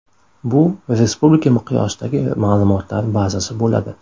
Bu respublika miqyosidagi ma’lumotlar bazasi bo‘ladi.